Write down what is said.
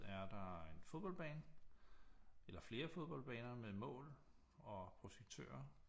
Er der en fodboldbane eller flere fodboldbaner med mål og projektører